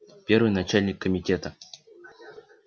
первый начальник комитета